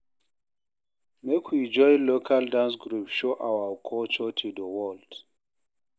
Make we join local dance group show our culture to di world